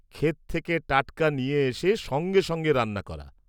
-ক্ষেত থেকে টাটকা নিয়ে এসে সঙ্গে সঙ্গে রান্না করা।